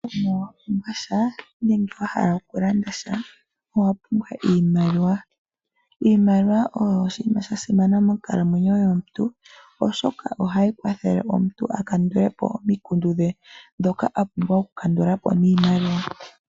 Ngele wapumbwa sha nenge wahala okulanda sha owapumbwa iimaliwa. Iimaliwa oyo oshinima sha simana monkalamwenyo yomuntu, oshoka ohayi kwathele akandulepo omikundu dhe ndhoka apumbwa okukandulapo niimaliwa.